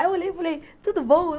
Aí eu olhei e falei, tudo bom?